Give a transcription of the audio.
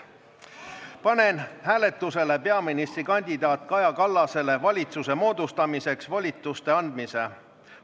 Panen hääletusele peaministrikandidaat Kaja Kallasele valitsuse moodustamiseks volituste andmise.